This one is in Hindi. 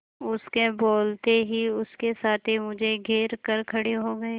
उसके बोलते ही उसके साथी मुझे घेर कर खड़े हो गए